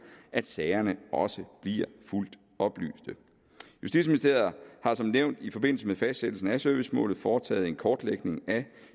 at sagerne også bliver fuldt oplyst justitsministeriet har som nævnt i forbindelse med fastsættelsen af servicemålet foretaget en kortlægning af